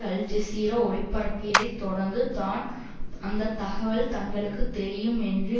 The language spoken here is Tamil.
அல் ஜெசீரா ஒளிபரப்பியதைத் தொடர்ந்து தான் அந்த தகவல் தங்களுக்கு தெரியும் என்று